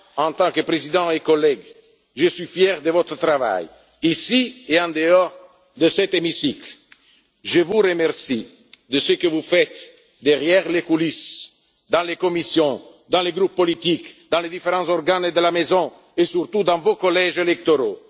sommes. Moi, en tant que Président et collègue, je suis fier de votre travail, ici et en dehors de cet hémicycle. Je vous remercie de ce que vous faites dans les coulisses, dans les commissions, dans les groupes politiques, dans les différents organes de la Maison et, surtout, dans vos collèges